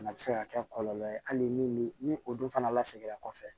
Fana bɛ se ka kɛ kɔlɔlɔ ye hali ni o dun fana la seginna kɔfɛ